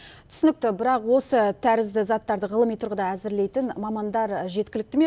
түсінікті бірақ осы тәрізді заттарды ғылыми тұрғыдан әзірлейтін мамандар жеткілікті ме